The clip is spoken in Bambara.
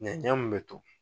Ɲɛnɲɛn mun be to